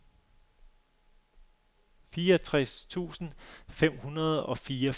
fireogtres tusind fem hundrede og fireogfirs